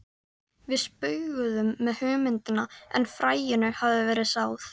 Við spauguðum með hugmyndina en fræinu hafði verið sáð.